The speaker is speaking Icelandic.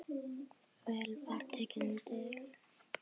Vel var tekið undir.